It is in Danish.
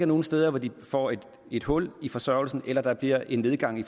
nogen steder hvor de får et hul i forsørgelsen eller der bliver en nedgang i